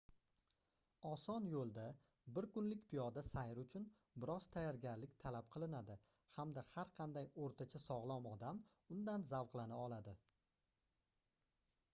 oson yoʻlda bir kunlik piyoda sayr uchun bir oz tayyorgarlik talab qilinadi hamda har qanday oʻrtacha sogʻlom odam undan zavqlana oladi